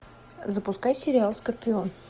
запускай сериал скорпион